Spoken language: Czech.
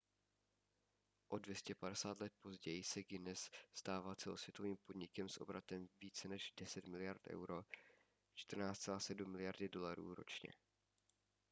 o 250 let později se guinness stává celosvětovým podnikem s obratem více než 10 miliard euro 14,7 miliardy dolarů ročně